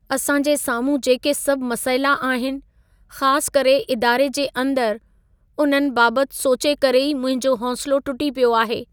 असां जे साम्हूं जेके सभ मसइला आहिनि, ख़ासि करे इदारे जे अंदरि, उन्हनि बाबति सोचे करे ई मुंहिंजो हौसिलो टुटी पियो आहे।